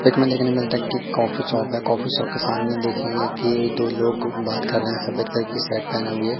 एक में देखने मिलता है कि एक कॉफी शॉप है काफी शॉप के सामने देखेंगे कि दो लोग बात कर रे है सफेद कलर की शर्ट पेहने हुए।